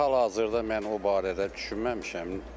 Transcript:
İndi hal-hazırda mən o barədə düşünməmişəm.